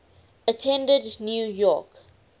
attended new york